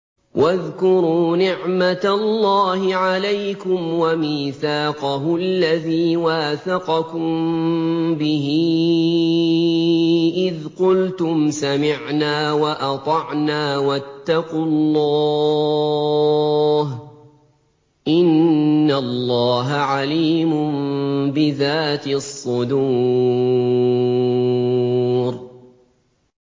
وَاذْكُرُوا نِعْمَةَ اللَّهِ عَلَيْكُمْ وَمِيثَاقَهُ الَّذِي وَاثَقَكُم بِهِ إِذْ قُلْتُمْ سَمِعْنَا وَأَطَعْنَا ۖ وَاتَّقُوا اللَّهَ ۚ إِنَّ اللَّهَ عَلِيمٌ بِذَاتِ الصُّدُورِ